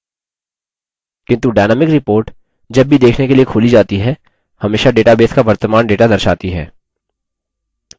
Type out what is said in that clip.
किन्तु dynamic report जब भी देखने के लिए खोली जाती है हमेशा database का वर्तमान data दर्शाती है